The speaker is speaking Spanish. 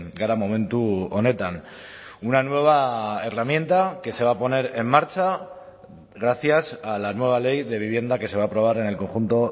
gara momentu honetan una nueva herramienta que se va a poner en marcha gracias a la nueva ley de vivienda que se va a aprobar en el conjunto